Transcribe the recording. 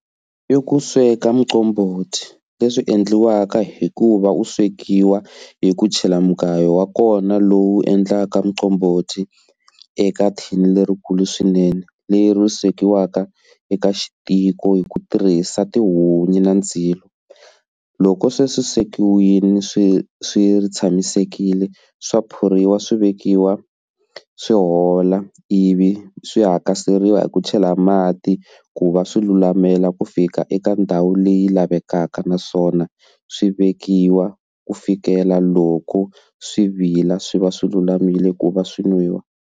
I ku sweka muqombhoti leswi endliwaka hikuva u swekiwa hi ku chela mugayo wa kona lowu endlaka muqombhoti eka thin lerikulu swinene leri swekiwaka eka xi tiko hi ku tirhisa tihunyi na ndzilo loko sweswi swekiwile swi swi tshamisekile swa phuriwa swivekiwa swi hola ivi swi hakasela riwa hi ku chela mati ku va swi lulamela ku fika eka ndhawu leyi lavekaka naswona swi vekiwa ku fikela loko swi vila swi va swi lulamile ku va swi nwiwa.